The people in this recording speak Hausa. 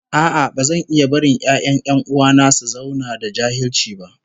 No, I won't watch my brother's children remain illiterate